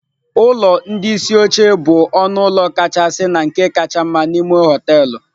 Ụlọ ndị isi oche bụ ọnụ ụlọ kachasị na nke kacha mma n'ime họteelụ.